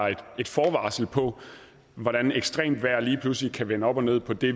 et forvarsel på hvordan ekstremt vejr lige pludselig kan vende op og ned på det